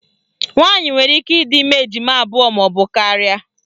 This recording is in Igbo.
Nwaanyị nwere ike ịdị ime ejima abụọ maọbụ karịa